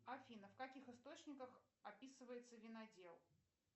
афина в каких источниках описывается винодел